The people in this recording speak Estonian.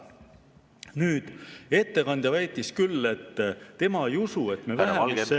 Nüüd, ettekandja väitis küll, et tema ei usu, et me vähemusse jääme.